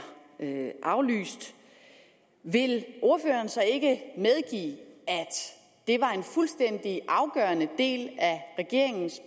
aflyst vil ordføreren så ikke medgive at det var en fuldstændig afgørende del af regeringens